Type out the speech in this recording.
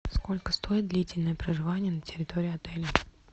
сколько стоит длительное проживание на территории отеля